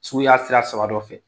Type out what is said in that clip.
Suguya sira saba dɔ fɛ.